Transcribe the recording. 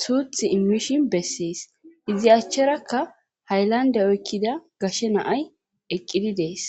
suuth immishin bessees izi achcherakka hayllande oykkida gashe naay eqqidi dees